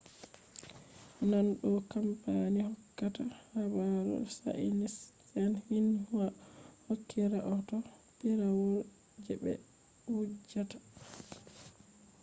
naane ɗo kampani hokkata habaru chainiis'en xinhua hokki rahoto piirawol je ɓe wujjata